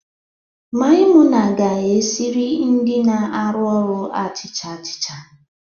Maimuna ga-esire ndị na-arụ ọrụ achịcha achịcha